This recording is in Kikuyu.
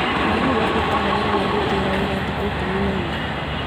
Arutani mabutagwo wĩra nĩ gũtĩĩra wĩra thikũ ikũmi na inya